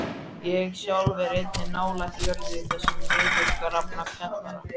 Ég sjálf er einnig nálægt jörðu í þessum niðurgrafna kjallara.